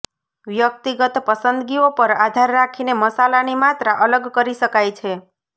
વ્યક્તિગત પસંદગીઓ પર આધાર રાખીને મસાલાની માત્રા અલગ કરી શકાય છે